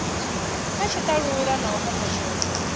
kha tshitalula na u kombetshedzwa